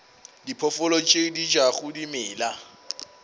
diphoofolo tše di jago dimela